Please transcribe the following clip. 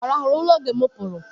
Ọ rahụru ụra oge mụ pụrụ?